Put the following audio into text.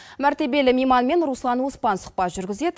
мәртебелі мейманмен руслан оспан сұхбат жүргізеді